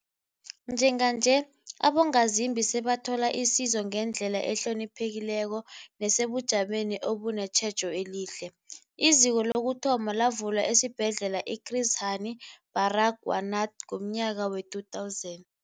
Njenganje, abongazimbi sebathola isizo ngendlela ehloniphekileko nesebujameni obunetjhejo elihle. IZiko lokuthoma lavulwa esiBhedlela i-Chris Hani Baragwanath ngomnyaka we-2000.